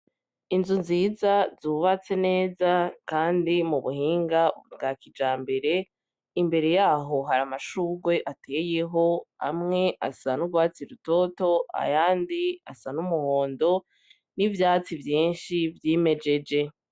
Inzu nziza zubatse neza kandi mu buhinga bwa kijambere, imbere yaho hari amashurwe ateyeho, amwe asa n'urwatsi rutoto, ayandi asa n'umuhondo. N'ibyatsi vyinshi vy'imejeje.